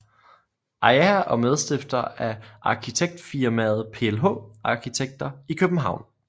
AIA og medstifter af arkitektfirmaet PLH arkitekter i København